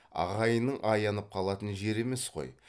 ағайынның аянып қалатын жері емес қой